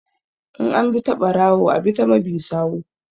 In an bi ta ɓarawo a ɓi ta mabi sawu